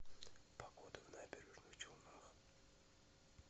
погода в набережных челнах